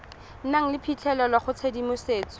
nang le phitlhelelo go tshedimosetso